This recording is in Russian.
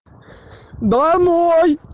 домой